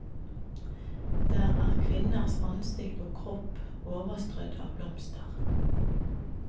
Der er kvinnens ansikt og kropp overstrødd av blomster.